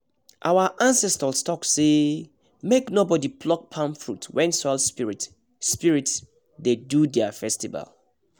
our ancestors talk say make nobody pluck palm fruit when soil spirits spirits dey do their festival